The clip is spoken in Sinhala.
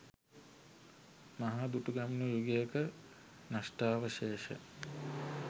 මහා දුටුගැමුණු යුගයක නෂ්ටාවශේෂ